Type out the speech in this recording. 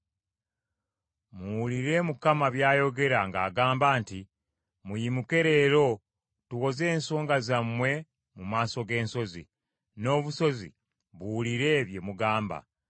Muwulire Mukama by’ayogera ng’agamba nti, “Muyimuke leero tuwoze ensonga zammwe mu maaso g’ensozi, n’obusozi buwulire bye mugamba.